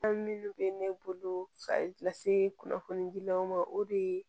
An minnu bɛ ne bolo ka kunnafoni gilanw ma o de ye